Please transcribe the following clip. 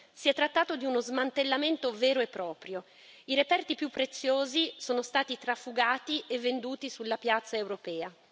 Si è trattato di uno smantellamento vero e proprio i reperti più preziosi sono stati trafugati e venduti sulla piazza europea.